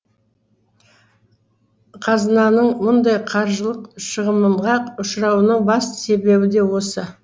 қазынаның мұндай қаржылық шығынынға ұшырауының басты себебі де осы